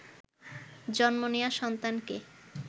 জন্ম নেয়া সন্তানকে